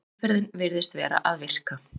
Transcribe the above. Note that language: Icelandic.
Meðferðin virðist vera að virka.